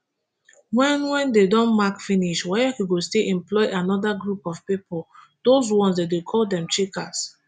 wen wen dem don mark finish waec go still employ anoda group of pipo those ones dem dey call dem checkers